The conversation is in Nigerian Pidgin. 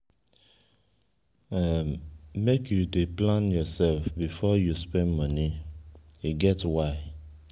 make you dey plan yoursef before you spend moni e get why.